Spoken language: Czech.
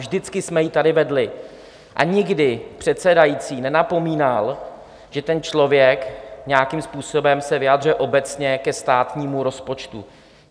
Vždycky jsme ji tady vedli a nikdy předsedající nenapomínal, že ten člověk nějakým způsobem se vyjadřuje obecně ke státnímu rozpočtu.